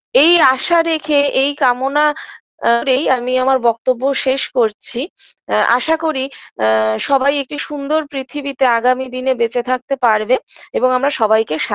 এই আশা রেখে এই কামনা করেই আমি আমার বক্তব্য শেষ করছি এ আশা করি আ সবাই একটি সুন্দর পৃথিবীতে আগামী দিনে বেঁচে থাকতে পারবে এবং আমরা সবাইকে সা